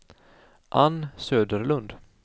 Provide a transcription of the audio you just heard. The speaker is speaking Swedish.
Ann Söderlund